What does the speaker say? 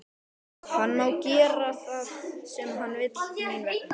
Hann má gera það sem hann vill mín vegna.